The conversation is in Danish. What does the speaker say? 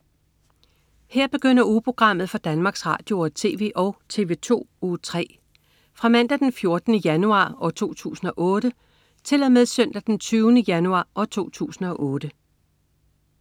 Her begynder ugeprogrammet for Danmarks Radio- og TV og TV2 Uge 3 Fra Mandag den 14. januar 2008 Til Søndag den 20. januar 2008